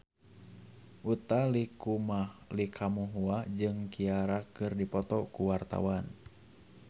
Utha Likumahua jeung Ciara keur dipoto ku wartawan